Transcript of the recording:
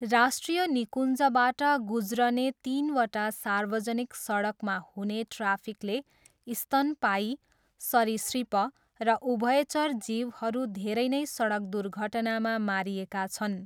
राष्ट्रिय निकुञ्जबाट गुज्रने तिनवटा सार्वजनिक सडकमा हुने ट्राफिकले स्तनपायी, सरीसृप र उभयचर जीवहरू धेरै नै सडक दुर्घटनामा मारिएका छन्।